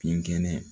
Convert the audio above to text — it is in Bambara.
Binkɛnɛ